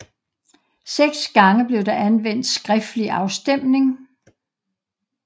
Seks gange blev der anvendt skriftlig afstemning